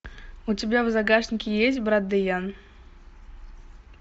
у тебя в загашнике есть брат дэян